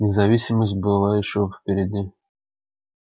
независимость была ещё впереди